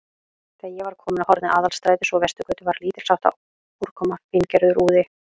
Þegar ég var kominn að horni Aðalstrætis og Vesturgötu, var lítilsháttar úrkoma, fíngerður úði.